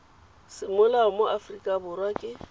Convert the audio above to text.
semolao mo aforika borwa ke